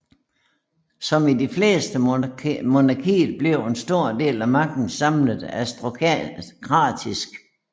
Som i de fleste monarkier blev en stor del af magten samlet i aristokratiet